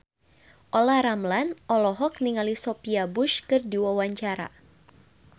Olla Ramlan olohok ningali Sophia Bush keur diwawancara